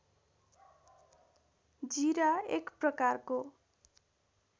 जीरा एक प्रकारको